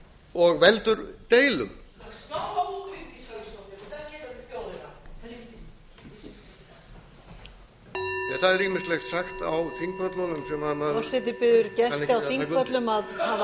og veldur deilum það er ýmislegt sagt á þingpöllunum sem maður kann ekki að taka undir forseti biður gesti